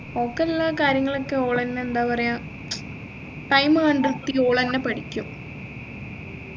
ഒക്കെല്ലാ കാര്യങ്ങളൊക്കെ ഓളെന്നെ എന്താ പറയാ time കണ്ടെത്തി ഓളെന്നെ പഠിക്കും